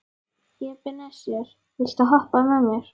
Ebeneser, viltu hoppa með mér?